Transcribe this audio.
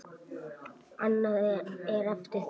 Annað er eftir því.